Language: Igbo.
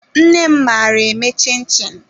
Nnem maara eme chin-chin